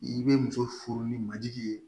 I bɛ muso furu ni majigi ye